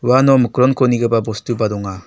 uano mikronko nigipa bostuba donga.